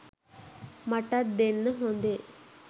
මටත් දෙන්න හොඳේ